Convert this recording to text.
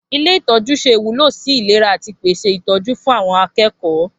Ilé itọju se ìwúlò sì ìlera ati ìpèsè ìtọjú fún àwon akékòó